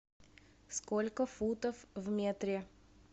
сколько футов в метре